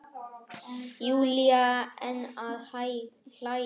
Júlía enn að hlæja.